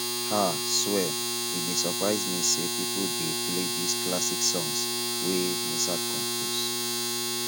ah swear e dey surprise me sey people dey play dis classical songs wey mozart compose.